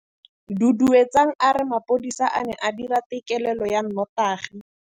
Duduetsang a re mapodisa a ne a dira têkêlêlô ya nnotagi.